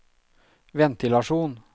ventilasjon